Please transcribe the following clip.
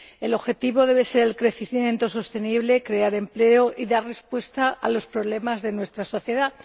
El objetivo debe ser el crecimiento sostenible, crear empleo y dar respuesta a los problemas de nuestra sociedad.